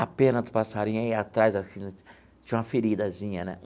A pena do passarinho aí atrás, tinha uma feridazinha, né?